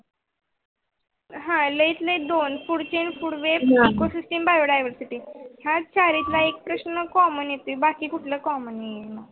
आह लै तर लै दोन पुढवेळ पूर्वे नको System biodio Dio system ह्या चार प्रस्न commen येती बाकी कुठल commen नाही